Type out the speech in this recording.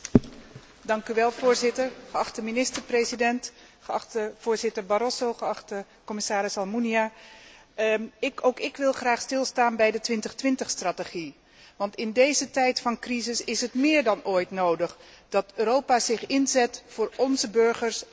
Voorzitter, geachte minister president, geachte voorzitter Barroso, geachte commissaris Almunia, ook ik wil graag stilstaan bij de 2020 strategie, want in deze tijd van crisis is het meer dan ooit nodig dat Europa zich inzet voor zijn burgers en hun banen.